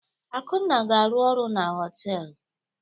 Akunna ga-arụ ọrụ na họtelụ.